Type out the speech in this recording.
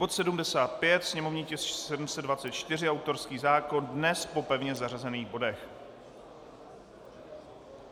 Bod 75, sněmovní tisk 724, autorský zákon dnes po pevně zařazených bodech.